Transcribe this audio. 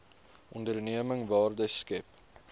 onderneming waarde skep